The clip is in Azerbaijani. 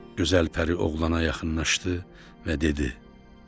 Gözəl pəri oğlana yaxınlaşdı və dedi: